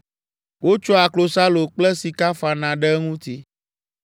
Wotsɔa klosalo kple sika fana ɖe eŋuti.